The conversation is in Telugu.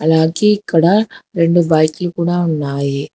అలాగే ఇక్కడ రెండు బైక్లు కూడ ఉన్నాయి.